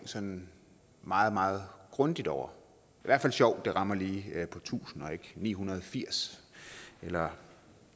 sådan meget meget grundigt over hvert fald sjovt at det rammer lige på tusind og ikke ni hundrede og firs eller